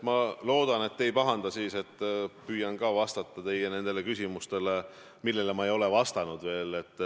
Ma loodan, et te ei pahanda, kui ma püüan vastata ka teie küsimustele, millele ma ei ole veel vastanud.